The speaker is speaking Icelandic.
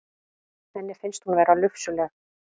Henni finnst hún vera lufsuleg.